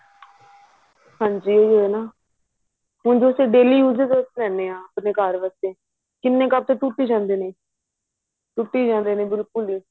ਹਾਂਜੀ ਉਹੀ ਹੈ ਨਾ ਹੁਣ ਤੁਸੀਂ daily use ਵਿੱਚ ਕੱਪ ਲੈਨੇ ਆ ਆਪਨੇ ਘਰ ਵਾਸਤੇ ਕਿੰਨੇ ਕੱਪ ਤਾਂ ਟੁੱਟ ਜਾਂਦੇ ਨੇ ਟੁੱਟੀ ਜਾਂਦੇ ਨੇ ਬਿਲਕੁੱਲ ਹੀ